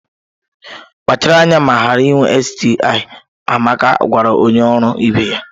Kpachara anya ma ghara inwe STI! Amaka gwara onye ọrụ ibe ya